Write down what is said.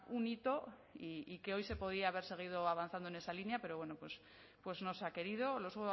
un hito y que hoy se podía haber seguido avanzando en esa línea pero bueno pues no se ha querido los